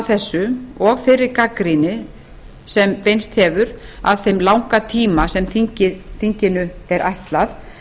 þessu og þeirri gagnrýni sem beinst hefur að þeim langa tíma sem þinginu er ætlað